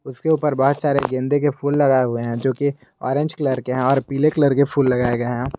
उसके ऊपर बहोत सारे गेंदे के फूल लगाए हुए हैं जो की ऑरेंज कलर के हैं और पीले कलर के फूल लगाए गए।